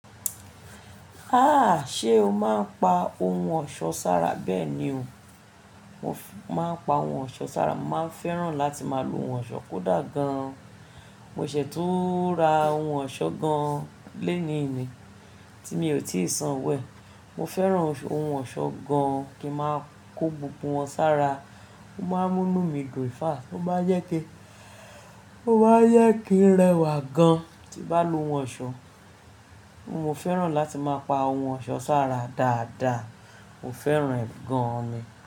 Ha! Ṣé o máa ń pa ohun ọ̀ṣọ́ sára bẹ́ẹ̀ ni o. Mo máa ń pa ohun ọ̀ṣọ́ sára, mo máa fẹ́ràn láti máa lo ohun ọ̀ṣọ́ kódà gan. Mo ṣi tún ra ohun ọ̀ṣọ́ gan léni yi, tí mi ò tíì san owo. Mo fẹ́ran ohun ọ̀ṣọ́ gan kí n máa kó gbogbo wọn sára. Ó máa ń múnu dùn in fact, ó má n jẹ ki, ó má jẹ kí n rẹwà gan tí n bá lo ohun ọ̀ṣọ́. Mo fẹ́ràn láti máa pa ohun ọ̀ṣọ́ sára dáadáa. Mo fẹ́ràn ẹ́ gan mi.